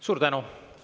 Suur tänu!